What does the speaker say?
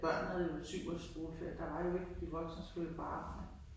Børnene havde jo syv ugers skoleferie der var jo ikke. De voksne skullle jo på arbejde